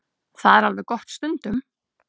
Það er alveg gott stundum.